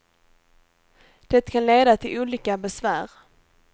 Det kan leda till olika besvär.